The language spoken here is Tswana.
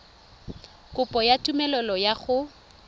kopo ya tumelelo ya go